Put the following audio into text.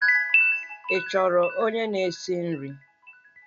Ị chọrọ onye na-esi nri?